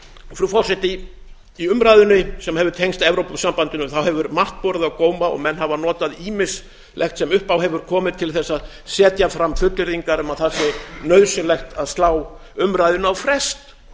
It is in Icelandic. frú forseti í umræðunni sem hefur tengst evrópusambandinu hefur margt borið á góma og menn hafa notað ýmislegt sem upp á hefur komið til þess að setja fram fullyrðingar um að það sé nauðsynlegt að slá umræðunni á frest